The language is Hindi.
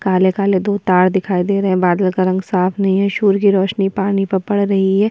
काले-काले दो तार दिखाई दे रहे हैं बादल का रंग साफ नहीं है सूर्य की रोशनी पानी पर पड़ रही है।